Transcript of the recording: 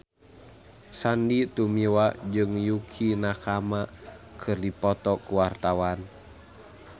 Sandy Tumiwa jeung Yukie Nakama keur dipoto ku wartawan